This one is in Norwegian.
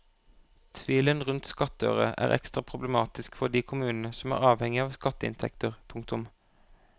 Tvilen rundt skattøre er ekstra problematisk for de kommunene som er avhengig av skatteinntekter. punktum